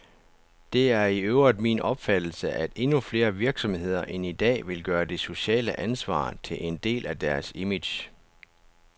Det er i øvrigt min opfattelse, at endnu flere virksomheder end i dag vil gøre det sociale ansvar til en del af deres image.